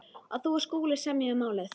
að þú og Skúli semjið um málið!